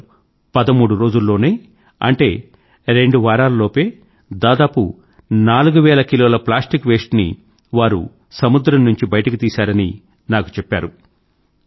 కేవలం పదమూడు రోజుల్లోనే అంటే రెండు వారాల లోపే దాదాపు నాలుగు వేల కిలోల ప్లాస్టిక్ వేస్ట్ ని వారు సముద్రం నుండి బయటకు తీసారని నాకు చెప్పారు